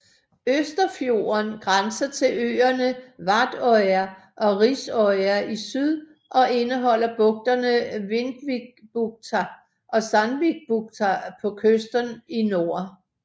Østerfjorden grænser til øerne Vardøya og Risøya i syd og indeholder bugterne Vindvikbukta og Sandvikbukta på kysten i nord